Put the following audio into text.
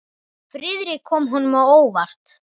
Friðrik kom honum á óvart.